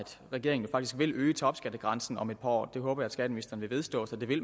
regeringen faktisk vil øge topskattegrænsen om et par år det håber jeg skatteministeren vil vedstå sig nemlig